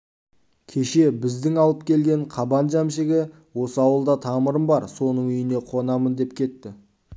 кеше бізді алып келген қабан жәмшігі осы ауылда тамырым бар соның үйіне қонамын деп кетті